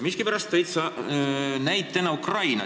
Miskipärast tõid sa näitena Ukraina.